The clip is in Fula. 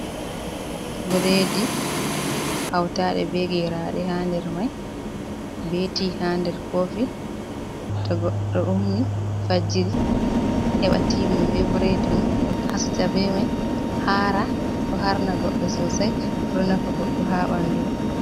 Biredi hautaɗe be geraɗe ha nder mai be tii ha nder kofi to goddo ummi fajiri heɓa tii mun be biredi mun hasita be mai hara ɗo harna goddo sosai ɗo nafa goddo ha ɓandu.